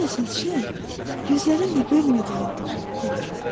Ən əsas şey gözlərin də görmədiyindir, dedi.